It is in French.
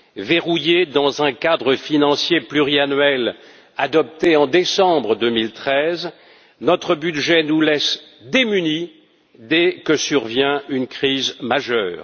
Verrouillé dans un cadre financier pluriannuel adopté en décembre 2013, notre budget nous laisse démunis dès que survient une crise majeure.